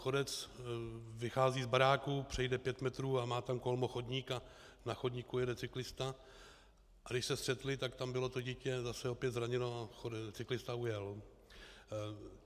Chodec vychází z baráku, přejde pět metrů, má tam kolmo chodník a na chodníku jede cyklista, a když se střetli, tak tam bylo to dítě zase opět zraněno a cyklista ujel.